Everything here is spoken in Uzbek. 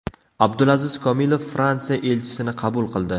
Abdulaziz Komilov Fransiya elchisini qabul qildi.